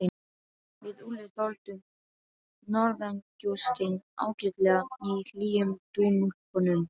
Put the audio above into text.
Við Úlli þoldum norðangjóstinn ágætlega í hlýjum dúnúlpunum.